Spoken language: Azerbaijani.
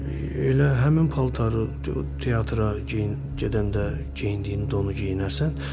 Elə həmin paltarı teatra geyin gedəndə geyindiyin donu geyinərsən.